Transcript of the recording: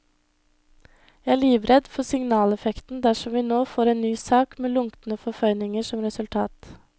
Jeg er livredd for signaleffekten dersom vi nå får en ny sak med lunkne forføyninger som resultat.